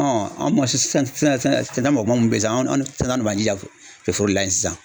an sisan, anw de b'an jija foro de la yen sisan sisan.